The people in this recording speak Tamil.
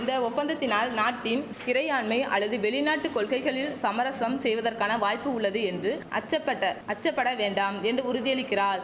இந்த ஒப்பந்தத்தினால் நாட்டின் இறையாண்மை அல்லது வெளிநாட்டு கொள்கைகளில் சமரசம் செய்வதற்கான வாய்ப்பு உள்ளது என்று அச்சபட்ட அச்சப்பட வேண்டாம் என்று உறுதியளிக்கிறார்